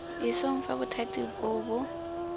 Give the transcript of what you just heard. isong fa bothati boo bo